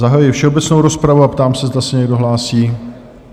Zahajuji všeobecnou rozpravu a ptám se, zda se někdo hlásí?